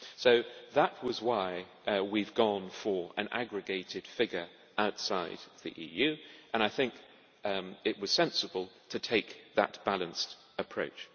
So that was why we have gone for an aggregated figure outside the EU, and I think it was sensible to take that balanced approach.